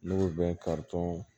N'u bɛ karitɔn